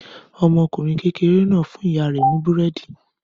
Ọmọkùnrin kékeré náà fún ìyá rẹ̀ ní búrẹ́dì.